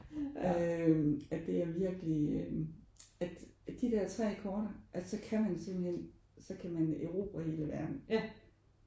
Øh at det er virkelig øh at at de der 3 akkorder at så kan man simpelthen så kan man erobre hele verdenen